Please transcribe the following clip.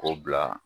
K'o bila